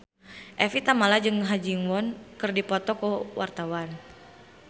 Evie Tamala jeung Ha Ji Won keur dipoto ku wartawan